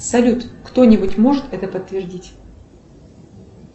салют кто нибудь может это подтвердить